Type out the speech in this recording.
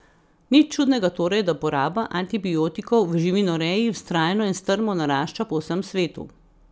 Nič čudnega torej, da poraba antibiotikov v živinoreji vztrajno in strmo narašča po vsem svetu.